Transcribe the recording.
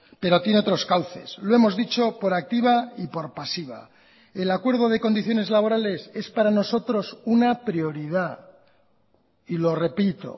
pero tiene otros cauces lo hemos dicho por activa y por pasiva el acuerdo de condiciones laborales es para nosotros una prioridad y lo repito